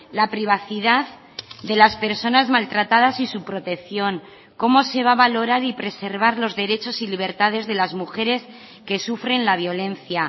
la privacidad de las personas maltratadas y su protección cómo se va valorar y preservar los derechos y libertades de las mujeres que sufren la violencia